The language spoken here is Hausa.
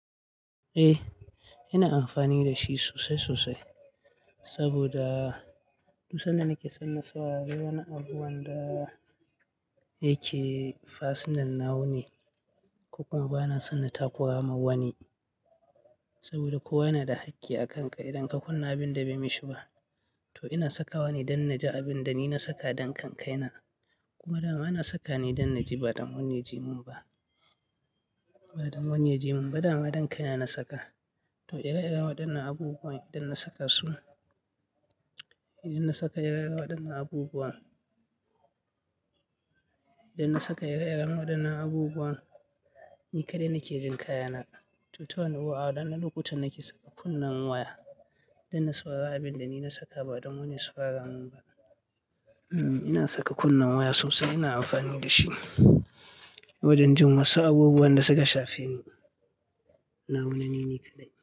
Eh, ina amfani da shi sosai sosai saboda duk sanda nake san na saurari wani abu wanda yake fasinan nawa ne, ko kuma bana son na taku ra ma wani. Saboda kowa yana da hakki a kanka idan ka kunna abin da bai mishi ba. To ina saka wa ni don na ji abin da ni na saka don kankaina. Kuma da ma na saka ne don na ji ba don wani ya ji mun ba, ba don wani ya ji mun ba da ma don kaina na saka. To, ire-iren wadannan abubuwan idan na saka su, idan na saka ire-iren wadannan abubuwan, idan na saka ire-iren wadannan abubuwan ni kaɗai nake jin kaya na. To, ta wani abu a waɗannan lokuta nake saka kunnen waya don na saurari abin da ni na saka ba don wani ya saurara mun ba. Hmm, ina saka kunnen waya sosai ina amfani da shi. Wajen jin wasu abubuwan da suka shafe ni, na wane nini kaɗai.